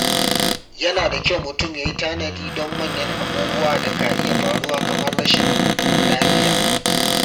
Yana da kyau mutum yayi tanadi don manyan abubuwan da ka iya faruwa kamar rashin lafiya.